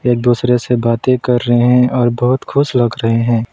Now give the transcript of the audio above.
एक दूसरे से बातें कर रहे हैं और बहोत खुश लग रहे हैं।